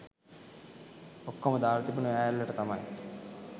ඔක්කොම දාල තිබුණෙ ඔය ඇල්ලට තමයි.